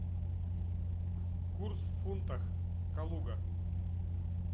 курс в фунтах калуга